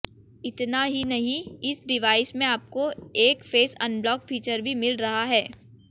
इतना ही नहीं इस डिवाइस में आपको एक फेस अनलॉक फीचर भी मिल रहा है